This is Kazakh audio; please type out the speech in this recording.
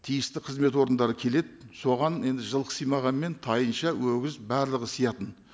тиісті қызмет органдары келеді соған енді жылқы симағанмен тайынша өгіз барлығы сиятын